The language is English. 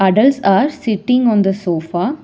adults are sitting on the sofa.